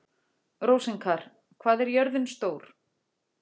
Rósinkar, hvað er jörðin stór?